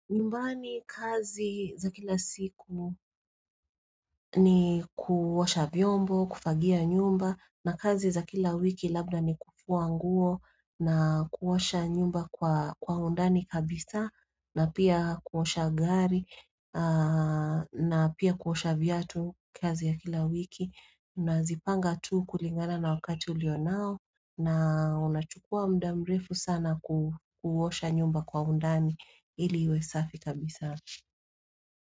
Nyumbani kazi za kila siku ni kuosha vyombo, kufagia nyumba na kazi za kila wiki labda ni kufua nguo na kuosha nyumba kwa undani kabisa na pia kuosha gari na pia kuosha viatu kazi ya kila wiki. Na zipanga tu kulingana na wakati ulio nao na unachukua mda mrefu sana kuosha nyumba kwa undani ili iwesafi kabisa.